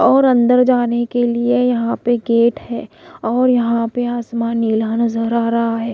और अंदर जाने के लिए यहां पे गेट है और यहां पे आसमान नीला नजर आ रहा है।